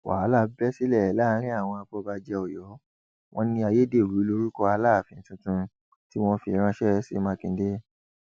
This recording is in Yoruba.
wàhálà bẹ sílẹ láàrin àwọn afọbajẹ ọyọ wọn ní ayédèrú lórúkọ aláàfin tuntun tí wọn fi ránṣẹ sí mákindé